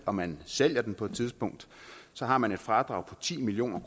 og man sælger den på et tidspunkt så har man et fradrag på ti million